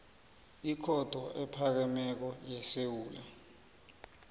ikhotho ephakemeko yesewula